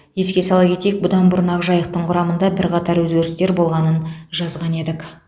еске сала кетейік бұдан бұрын ақжайықтың құрамында бірқатар өзгерістер болғанын жазған едік